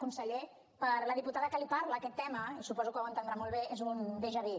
conseller per la diputada que li parla aquest tema i suposo que ho entendrà molt bé és un déjà vu